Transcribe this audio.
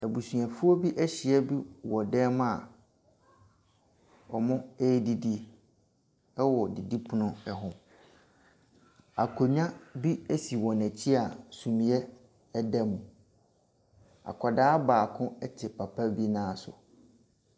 Abusuafoɔ bi ahyia mu wɔ dan mu a wɔredidi wɔ didipono ho. Akonnwa bi si wɔn akyi a sumiiɛ da mu. Akwadaa baako te papa bi nan so.